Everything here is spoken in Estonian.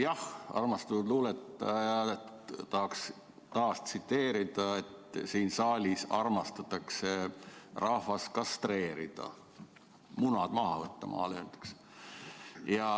Jah, tahaks taas tsiteerida armastatud luuletajat ja öelda, et siin saalis armastatakse rahvast kastreerida, munad maha võtta, nagu maal öeldakse.